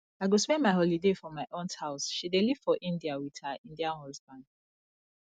i go spend my holiday for my aunt house she dey live for india with her indian husband